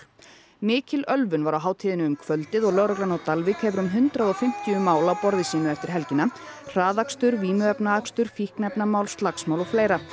mikil ölvun var á hátíðinni um kvöldið og lögreglan á Dalvík hefur um hundrað og fimmtíu mál á borði sínu eftir helgina hraðakstur vímuefnaakstur fíkniefnamál slagsmál og fleira